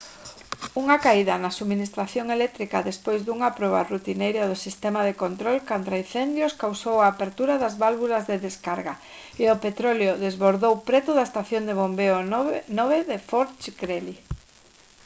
unha caída na subministración eléctrica despois dunha proba rutineira do sistema de control contraincendios causou a apertura das válvulas de descarga e o petróleo desbordou preto da estación de bombeo 9 de fort greely